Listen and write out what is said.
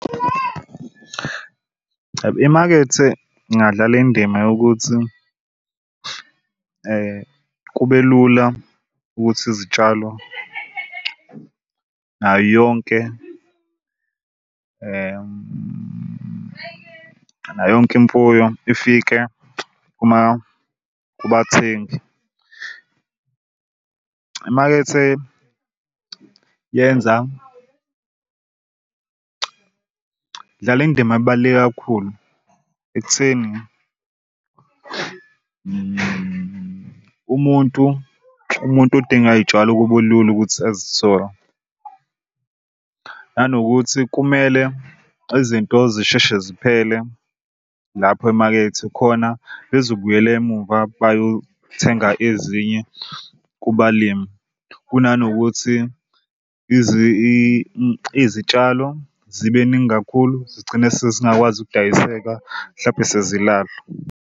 Imakethe ingadlala indima yokuthi kube lula ukuthi izitshalo nayo yonke nayo yonke imfuyo ifike uma kubathengi. Imakethe yenza idlala indima ebaluleke kakhulu ekutheni umuntu umuntu odinga iy'tshalo kube lula ukuthi azithole. Nanokuthi kumele izinto zisheshe ziphele lapho emakethe khona bezobuyela emuva bayothenga ezinye kubalimi. Kunanokuthi izitshalo zibeningi kakhulu zigcine sezingakwazi ukudayiseka mhlampe sezilahlwa.